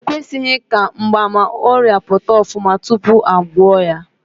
E kwesịghị ka mgbaàmà ọrịa pụta ofuma tupu a gwọọ ya.